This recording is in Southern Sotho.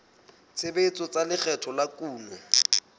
tshebetso tsa lekgetho la kuno